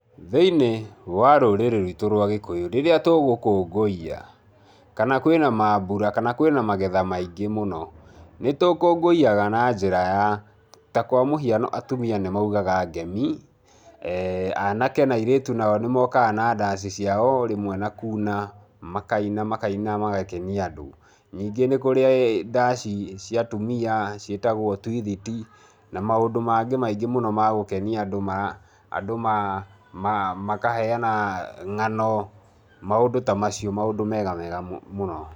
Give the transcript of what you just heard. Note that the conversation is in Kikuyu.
Thĩinĩ wa rũrĩrĩ rwitũ rwa gĩkũyu, rĩrĩa tugũkũngũiya, kana kwĩna maambura, kana kwĩna magetha maingĩ mũno, nĩtũkũngũiyaga na njĩra ya, ta kwa mũhiano atumia nĩ maugaga ngemi, anake na airĩtu nao nĩ mokaga na ndaci ciao o rĩmwe na kuuna, makaina makaina magakenia andũ. Ningĩ nĩ kũrĩ ndaci cia atumia ciĩtagwo twithiti, na maũndũ mangĩ maingĩ mũno ma gũkenia andũ ma, andũ makaheana ng'ano, maũndũ ta macio, maũndũ mega wega mũno.